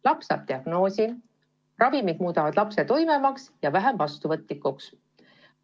Laps saab diagnoosi, ravimid muudavad ta tuimemaks ja vähem vastuvõtlikuks.